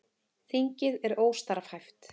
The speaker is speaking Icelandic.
Þingið er óstarfhæft